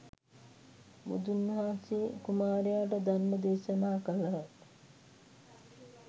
බුදුන් වහන්සේ කුමාරයාට ධර්ම දේශනා කළහ